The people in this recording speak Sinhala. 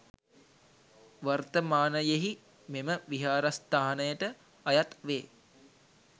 වර්තමානයෙහි මෙම විහාරස්ථානයට අයත් වේ